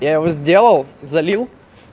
я его сделал залил